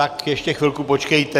Tak ještě chvilku počkejte.